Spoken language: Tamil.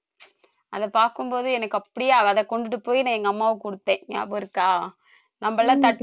அதை பார்க்கும் போது எனக்கு அப்படியே கொண்டு போய் நான் எங்க அம்மாவுக்கு கொடுத்தேன் ஞாபகம் இருக்கா